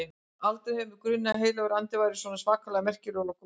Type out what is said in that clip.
Aldrei hefur mig grunað að Heilagur Andi væri svona svakalega merkilegur og góður.